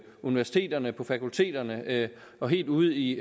universiteterne på fakulteterne og helt ude i